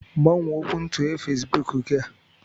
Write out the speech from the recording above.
Gbanwee okwuntughe Fesbuk gị a.